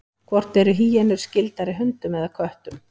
Hvort eru hýenur skyldari hundum eða köttum?